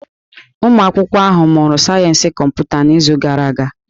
Ụmụ akwụkwọ ahụ mụrụ sayensị kọmputa n'izu gara aga.